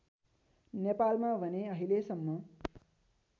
नेपालमा भने अहिलेसम्म